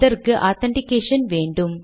அதற்கு ஆதென்டிகேஷன் வேண்டும்